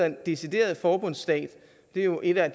en decideret forbundsstat det er jo en af